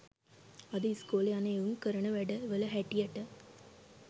අද ඉස්කෝලෙ යන එවුං කරන වැඩ වල හැටියට